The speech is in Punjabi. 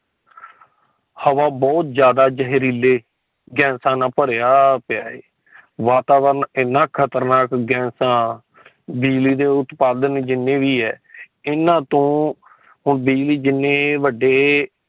ਹਵਾ ਬਹੁਤ ਜਾਂਦਾ ਜਹਰੀਲੇ ਗੈਸਾਂ ਨਾਲ ਭਰੀਆਂ ਪਿਆ ਹੈ। ਵਾਤਾਵਰਨ ਇਨ੍ਹਾਂ ਖਤਰਨਾਕ ਗੈਸਾਂ ਬਿਜਲੀ ਦੇ ਉਤਪਾਦਨ ਜਿਨ੍ਹੇ ਵੀ ਹੈ ਏਨਾ ਤੋਂ ਬਿਜਲੀ ਜਿਨ੍ਹੇ ਵੱਡੇ